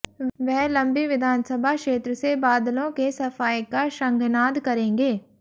वह लंबी विधानसभा क्षेत्र से बादलों के सफाए का शंखनाद करेंगे